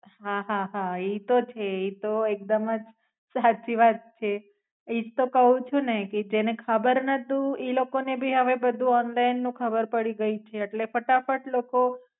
હા, હા. હા, ઈ તો છે ઈ તો એકદમ જ સાચી વાત છે. ઈ જ તો ક્વ છું ને કે એને ખબર નતું ઈ લોકો ને ભી હવે બધું ઓનલાઇન નું ખબર પડી ગઈ છે. એટલે ફટાફટ લોકો